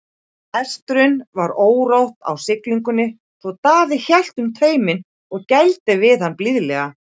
Hestinum var órótt á siglingunni svo Daði hélt um tauminn og gældi við hann blíðlega.